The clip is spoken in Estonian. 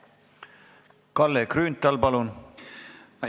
Kalle Grünthal, palun!